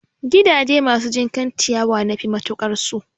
Gidaje masu jinkan ciyawa nafi matukar so